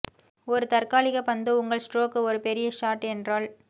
ஒரு தற்காலிக பந்து உங்கள் ஸ்ட்ரோக் ஒரு பெரிய ஷாட் என்றால்